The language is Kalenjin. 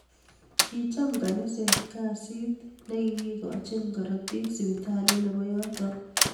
Kicham kaniset kasit na kikikachini karotik siptalit nebo yoto